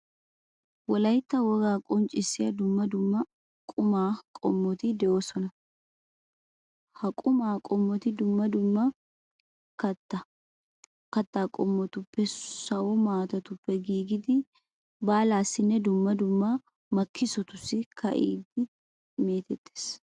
Wolaytta wogaa qonccissiya dumma dumma aqumaa qommoti de'oosona. Ha qumaa qommoti dumma dumma kattaa qommotuppenne sawo maatatuppe giigidi baalaassinne dumma dumma makkissotussi ka'idi meetettees.